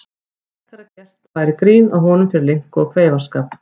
Frekar að gert væri grín að honum fyrir linku og kveifarskap.